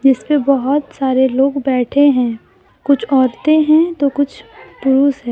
इसपे बहुत सारे लोग बैठे हैं कुछ औरतें हैं तो कुछ पुरुष है।